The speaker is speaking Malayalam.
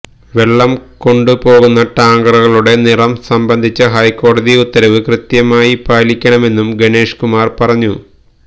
വെള്ളം കൊണ്ടു പോകുന്ന ടാങ്കറുകളുടെ നിറം സംബന്ധിച്ച ഹൈക്കോടതി ഉത്തരവ് കൃത്യമായി പാലിക്കണമെന്നും ഗണേഷ് കുമാർ പറഞ്ഞു